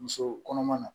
Muso kɔnɔma na